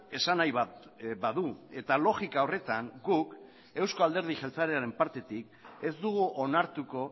esanahi bat badu eta logika horretan guk euzko alderdi jeltzalearen partetik ez dugu onartuko